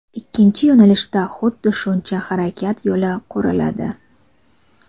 ikkinchi yo‘nalishda xuddi shuncha harakat yo‘li quriladi.